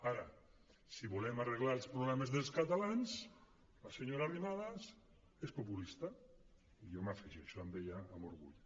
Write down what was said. ara si volem arreglar els problemes dels catalans la senyora arrimadas és populista i jo m’afegeixo a ella amb orgull